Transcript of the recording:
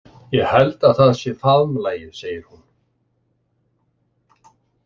Ég held að það sé faðmlagið, segir hún.